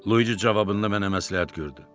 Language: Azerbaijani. Luici cavabında mənə məsləhət gördü.